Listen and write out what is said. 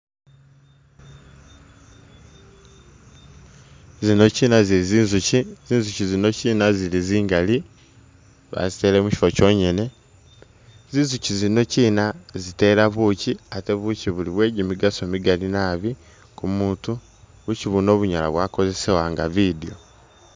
Zino kyina zili zi nzukyi, zi nzukyi zino kyina zili zingali bazitele mukyifo kyongene ,zi nzukyi zino kyina zitela bukyi ate bukyi buli bwe gimigaso migali nabi kumutu, bukyi buno bunyala bwakozesewa nga bidyo.